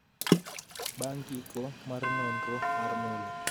bang' giko mar nonro mar Mueller